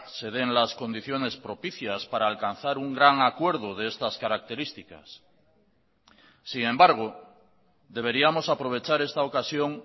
se den las condiciones propicias para alcanzar un gran acuerdo de estas características sin embargo deberíamos aprovechar esta ocasión